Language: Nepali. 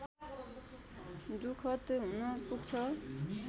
दुखद हुन पुग्छ